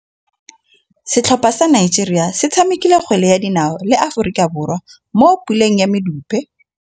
Setlhopha sa Nigeria se tshamekile kgwele ya dinaô le Aforika Borwa mo puleng ya medupe.